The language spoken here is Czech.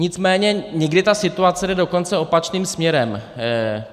Nicméně někdy ta situace jde dokonce opačným směrem.